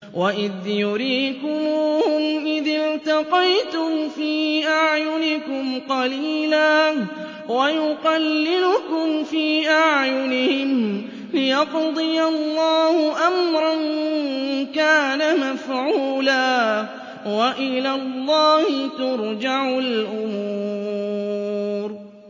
وَإِذْ يُرِيكُمُوهُمْ إِذِ الْتَقَيْتُمْ فِي أَعْيُنِكُمْ قَلِيلًا وَيُقَلِّلُكُمْ فِي أَعْيُنِهِمْ لِيَقْضِيَ اللَّهُ أَمْرًا كَانَ مَفْعُولًا ۗ وَإِلَى اللَّهِ تُرْجَعُ الْأُمُورُ